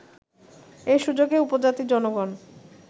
এই সুযোগে উপজাতি জনগণ